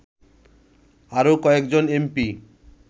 আরো কয়েকজন এমপি